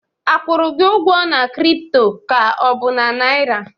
A kwụrụ gi ụgwọ na crypto ka ọ bụ na naira?